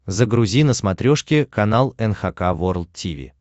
загрузи на смотрешке канал эн эйч кей волд ти ви